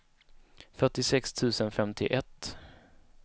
fyrtiosex tusen femtioett